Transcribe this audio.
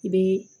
I bɛ